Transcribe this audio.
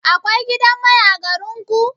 Akwai gidan mai a garin ku?